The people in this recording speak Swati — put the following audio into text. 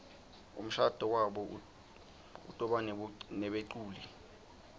umshado wabo utobanebeculi